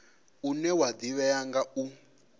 une wa ḓivhea nga u